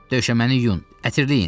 Döşəməni yuyun, ətirləyin.